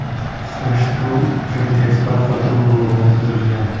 Surishtiruv uchun tezkor qidiruv guruhi tuzilgan.